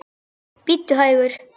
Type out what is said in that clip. Bíddu hægur.